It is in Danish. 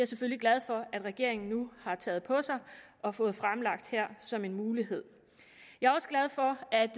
selvfølgelig glad for at regeringen nu har taget på sig og fået fremlagt her som en mulighed jeg